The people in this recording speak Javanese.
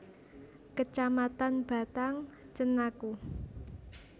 Kecamatan Batang Cenaku